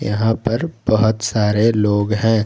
यहां पर बहोत सारे लोग हैं।